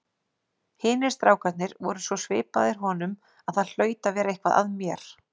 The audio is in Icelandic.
Hinir strákarnir voru svo svipaðir honum að það hlaut að vera eitthvað að mér!